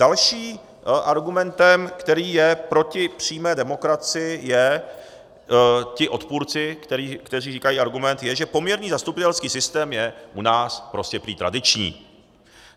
Dalším argumentem, který je proti přímé demokracii, je, ti odpůrci, kteří říkají argument, je, že poměrný zastupitelský systém je u nás prostě prý tradiční.